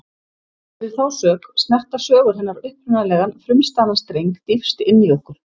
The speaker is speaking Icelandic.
Fyrir þá sök snerta sögur hennar upprunalegan, frumstæðan streng dýpst inní okkur.